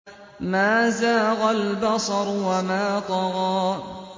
مَا زَاغَ الْبَصَرُ وَمَا طَغَىٰ